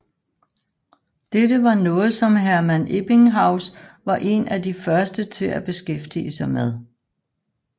Dette var noget som Hermann Ebbinghaus var en af de første til at beskæftige sig med